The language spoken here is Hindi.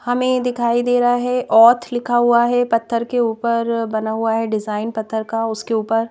हमें दिखाई दे रहा है ओथ लिखा हुआ है पत्थर के ऊपर बना हुआ है डिजाइन पत्थर का उसके ऊपर--